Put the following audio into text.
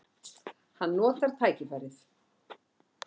Hann notar tækifærið.